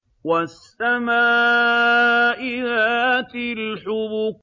وَالسَّمَاءِ ذَاتِ الْحُبُكِ